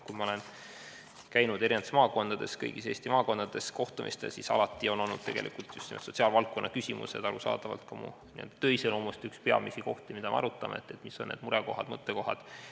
Kui ma olen eri maakondades, kõigis Eesti maakondades, peetud kohtumistel käinud, siis on tegelikult alati just sellised sotsiaalvaldkonna küsimused, arusaadavalt ka mu töö iseloomust, olnud üheks peamiseks teemaks, mida oleme arutanud – et mis on need murekohad, mõttekohad.